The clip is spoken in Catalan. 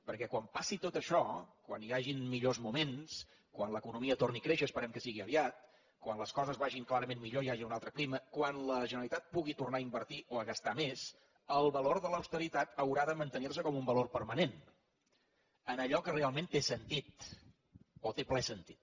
perquè quan passi tot això quan hi hagin millors moments quan l’economia torni a créixer esperem que sigui aviat quan les coses vagin clarament millor i hi hagi un altre clima quan la generalitat pugui tornar a invertir o a gastar més el valor de l’austeritat haurà de mantenir se com un valor permanent en allò que realment té sentit o té ple sentit